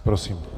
Prosím.